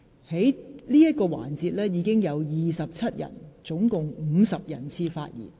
在此環節中，已經有27位議員合共50人次發言。